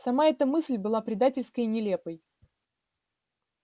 сама эта мысль была предательской и нелепой